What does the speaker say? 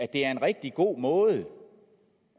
det er en rigtig god måde